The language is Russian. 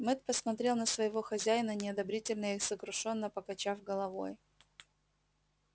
мэтт посмотрел на своего хозяина неодобрительно и сокрушённо покачав головой